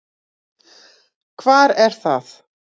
Hvar er það?